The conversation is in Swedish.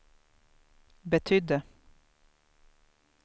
betydde